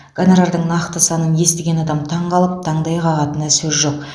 гонорардың нақты санын естіген адам таңқалып таңдай қағатынына сөз жоқ